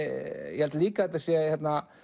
ég held líka að þetta sé